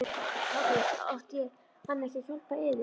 SOPHUS: Átti hann ekki að hjálpa yður?